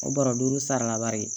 O bara duuru sarala bari